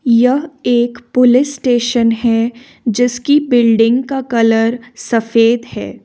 यह एक police station है जिसकी बिल्डिंग का कलर सफेद है।